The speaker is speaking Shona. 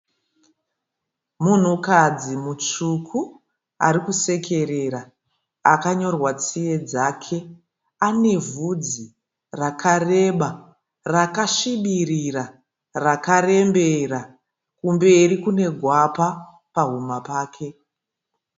Munhukadzi mutsvuku ari kusekerera akanyorwa tsiye dzake. Ane vhudzi rakareba, rakasvibirira rakarembera. Kumberi kune gwapa pahuma pake.